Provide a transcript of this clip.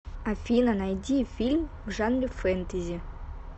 афина найди фильм в жанре фэнтэзи